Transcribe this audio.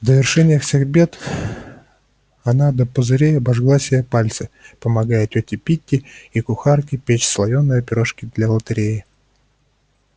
в довершение всех бед она до пузырей обожгла себе пальцы помогая тёте питти и кухарке печь слоёные пирожки для лотереи